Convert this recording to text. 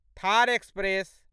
Thar express